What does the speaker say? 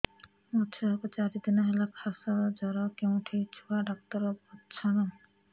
ମୋ ଛୁଆ କୁ ଚାରି ଦିନ ହେଲା ଖାସ ଜର କେଉଁଠି ଛୁଆ ଡାକ୍ତର ଵସ୍ଛନ୍